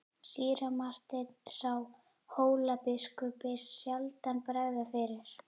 Síra Marteinn sá Hólabiskupi sjaldan bregða fyrir.